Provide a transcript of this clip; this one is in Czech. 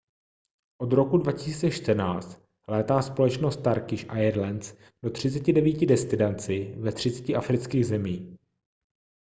od roku 2014 létá společnost turkish airlines do 39 destinací ve 30 afrických zemích